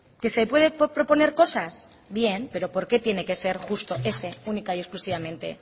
que se puede proponer cosas bien pero por qué tiene que ser justo ese única y exclusivamente